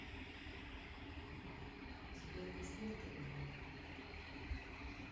сбер поставь талибал